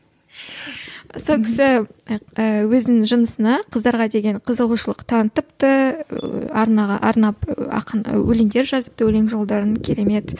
сол кісі ііі өзінің жынысына қыздарға деген қызығушылық танытыпты арнаға арнап ақын өлеңдер жазыпты өлең жолдарын керемет